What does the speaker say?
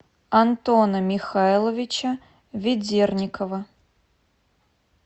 антона михайловича ведерникова